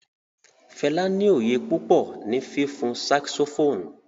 Fẹla ni oyé pupọ ni fifun saxophone